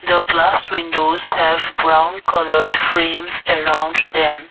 the glass windows of brown coloured frames around them.